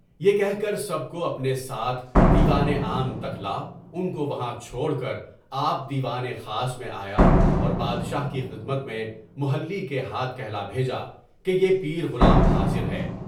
یہ کہ کر سب کو اپنے ساتھ دیوان عام تک لایا، ان کو وہاں چھوڑ کر آپ دیوان خاص میں آیا اور بادشاہ کی خدمت میں محلّی کے ہاتھ کہلا بھیجا کہ بیہ پیر غلام حاضر ہے۔